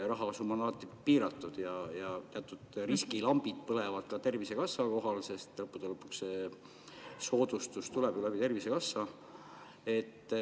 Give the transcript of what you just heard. Rahasumma on alati piiratud ja teatud riskilambid põlevad ka Tervisekassa kohal, sest lõppude lõpuks soodustus tuleb Tervisekassast.